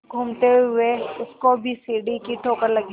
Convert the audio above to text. घूमते हुए उसको भी सीढ़ी की ठोकर लगी